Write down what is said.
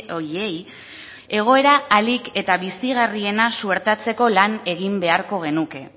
horiei egoera ahalik eta bizigarriena suertatzeko lan egin beharko genuke